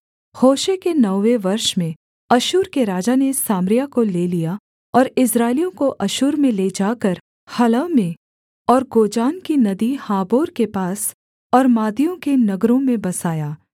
होशे के नौवें वर्ष में अश्शूर के राजा ने सामरिया को ले लिया और इस्राएलियों को अश्शूर में ले जाकर हलह में और गोजान की नदी हाबोर के पास और मादियों के नगरों में बसाया